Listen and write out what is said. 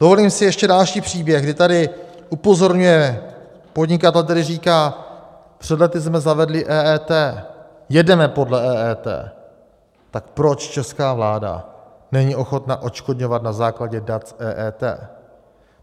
Dovolím si ještě další příběh, kdy tady upozorňuje podnikatel, který říká: Před lety jsme zavedli EET, jedeme podle EET, tak proč česká vláda není ochotna odškodňovat na základě dat EET?